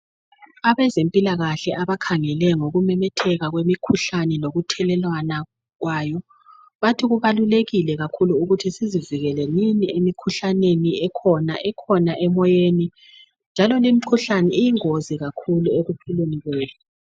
Abezempilakahle abahengele ngokumemetheka kwemikhuhlane lokuyhelelwana kwayo bathi kubalulekile kakhulu ukuthi sizivikelelenini emikhuhlaneni ekhona ikhona emoyeni njalo limikhuhlane iyingozi kakhulu ekuphileni kwethu.